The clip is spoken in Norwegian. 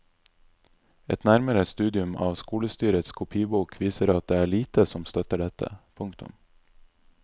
Et nærmere studium av skolestyrets kopibok viser at det er lite som støtter dette. punktum